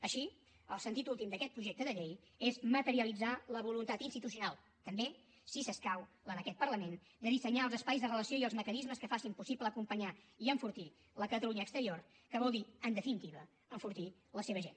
així el sentit últim d’aquest projecte de llei és materialitzar la voluntat institucional també si s’escau la d’aquest parlament de dissenyar els espais de relació i els mecanismes que facin possible acompanyar i enfortir la catalunya exterior que vol dir en definitiva enfortir la seva gent